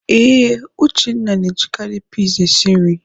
Ee, Uchenna na-ejikarị pis esi nri.